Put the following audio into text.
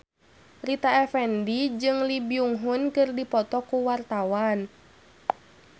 Rita Effendy jeung Lee Byung Hun keur dipoto ku wartawan